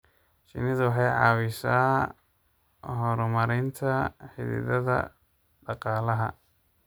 Shinnidu waxay caawisaa horumarinta xidhiidhada dhaqaalaha.